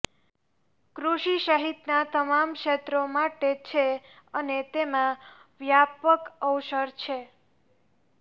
કૃષિ સહિતના તમામ ક્ષેત્રો માટે છે અને તેમાં વ્યાપક અવસર છે